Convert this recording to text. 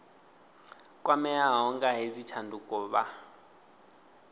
kwameaho nga hedzi tshanduko vha